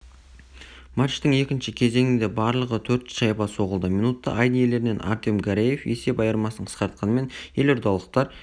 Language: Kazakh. матчтың екінші кезеңінде барлығы төрт шайба соғылды минутта айдын иелерінен артем гареев есеп айырмасын қысқартқанмен елордалықтар